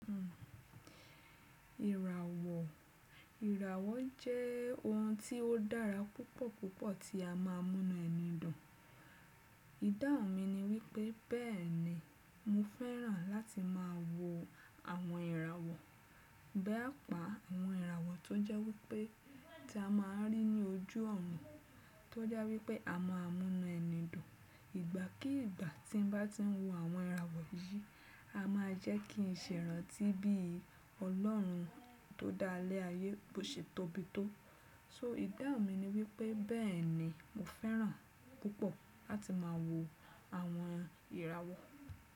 Ìràwọ̀, ìràwọ̀ jẹ́ ohun tí ó dára púpọ̀ púpọ̀ tí a má a múnú ẹni dùn. Ìdáhun mi ni wípé bẹ́ẹ̀ni mo fẹ́ràn láti má a wo àwọn ìràwọ̀. Bi àpá àwọn ìràwọ̀ tó jẹ́ wípé tí a ma n rí ní ojú ọ̀run tó jẹ́ wípé a má a múnú ẹni dùn. Ìgbà kí ìgbà tí n bá ti ń wo àwọn ìràwọ̀ yìí, a má a jẹ́ kí n ṣe irántí bí Ọlọ́run tó dá ilé ayé bó ṣe tóbi tó. So Ìdáhun mi ni wípé bẹ́ẹ̀ni mo fẹ́ràn púpọ̀ láti má a wo àwọn ìràwọ̀.